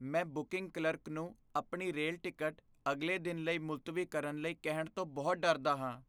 ਮੈਂ booking clerk ਨੂੰ ਆਪਣੀ ਰੇਲ ਟਿਕਟ ਅਗਲੇ ਦਿਨ ਲਈ ਮੁਲਤਵੀ ਕਰਨ ਲਈ ਕਹਿਣ ਤੋਂ ਬਹੁਤ ਡਰਦਾ ਹਾਂ।